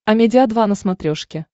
амедиа два на смотрешке